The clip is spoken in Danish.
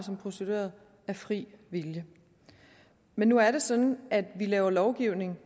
som prostituerede af fri vilje men nu er det sådan at vi laver lovgivning